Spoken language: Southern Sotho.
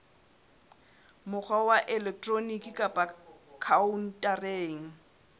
mokgwa wa elektroniki kapa khaontareng